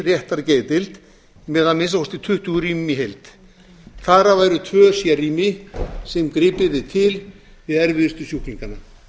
með að minnsta kosti tuttugu rýmum í heild þar af væru tvö sérrými sem gripið yrði til við erfiðustu sjúklingana